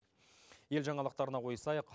ел жаңалықтарына ойысайық